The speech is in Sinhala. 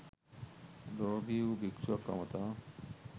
ලෝභී වූ භික්ෂුවක් අමතා